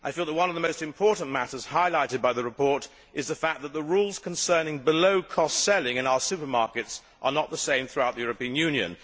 One of the most important matters highlighted by the report is the fact that the rules concerning below cost selling in our supermarkets are not the same throughout the European Union.